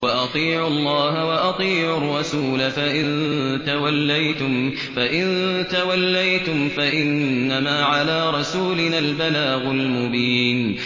وَأَطِيعُوا اللَّهَ وَأَطِيعُوا الرَّسُولَ ۚ فَإِن تَوَلَّيْتُمْ فَإِنَّمَا عَلَىٰ رَسُولِنَا الْبَلَاغُ الْمُبِينُ